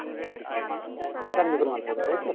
থেকে আমি নতুন মাল পাবো তাই তো?